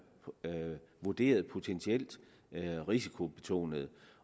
vurderet potentielt risikobetonede